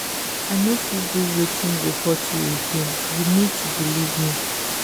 i no fit do wetin go hurt you you again you need to believe me.